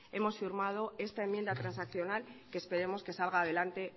hemos firmado esta enmienda transaccional que esperemos que salga adelante